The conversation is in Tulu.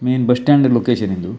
ಮೈನ್ ಬಸ್ ಸ್ಟ್ಯಾಂಡ್ ಲೊಕೇಶನ್ ಇದು.